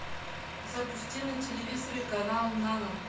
запусти на телевизоре канал нано